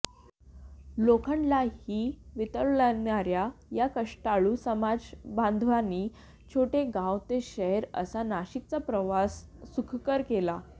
लोखंडलाही वितळवणाऱ्या या कष्टाळू समाजबांधवांनी छोटं गाव ते शहर असा नाशिकचा प्रवास सुखकर केला